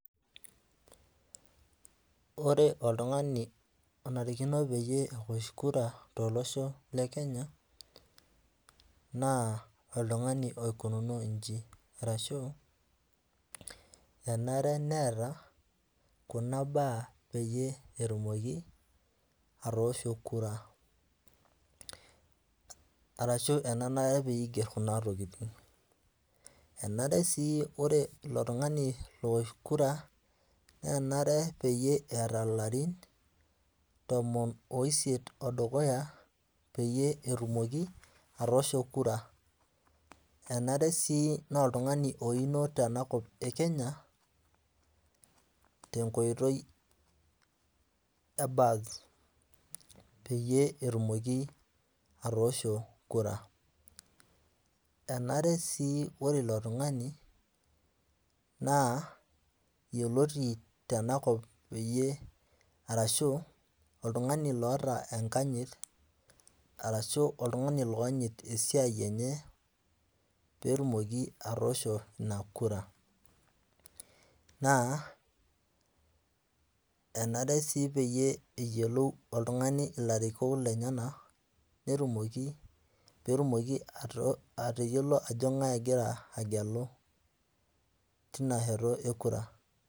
Ore oltung'ngani onarikino peyie ewosh kura tolosho le Kenya naa oltung'ani oikununo inji, arashu enare neeta Kuna baa peyii etumoki atoosho kura arashu enanare peyiee eigerr Kuna tokiting' enare sii ore ilo tung'ani lowosh kura nenare peyiee eeta ilarun tomon oisiet odukuya peyie etumoki atoosho kura enare sii naa oltung'ani oino tena kop e Kenya tenkoitoi ee birth peyiee etumoki atoosho kura, enare sii ore ilo tung'ani naa yioloti tenaa kop peyiee arashu oltung'ani loota enkanyit arashu oltung'ani looanyit esiai enye peetumoki atoosho ina kura, naa enarre sii peyie eyiolou oltung'ani ilarikok lenyenak peetumoki peetumoki atayiolo ajo keng'ae egira agelu teina sheto ekura.